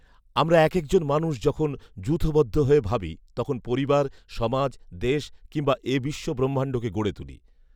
আমরা একেকজন মানুষ যখন যূথবদ্ধ হয়ে ভাবি তখন পরিবার, সমাজ, দেশ কিংবা এ বিশ্ব ব্রহ্মাণ্ডকে গড়ে তুলি